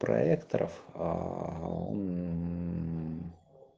проекторов